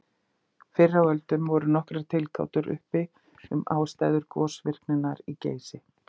Fyrr á öldum voru nokkrar tilgátur uppi um ástæður gosvirkninnar í Geysi.